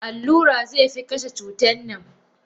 Allura zefi kashey cutannan.